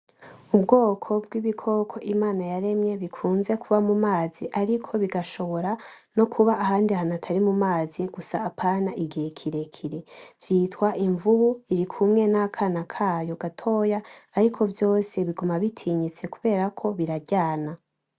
Ubwoko bw’ibikoko Imana yaremye bikunze kuba mumazi ariko bigashobora nokuba ahandi hantu atari mumazi gusa Apana igihe kirekire vyitwa imvubu irikumwe nakana kayo gatoya. Ariko vyose biguma bitinyitse kuberako buraryana.